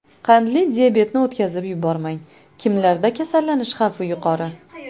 Qandli diabetni o‘tkazib yubormang: Kimlarda kasallanish xavfi yuqori?.